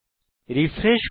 refresh করুন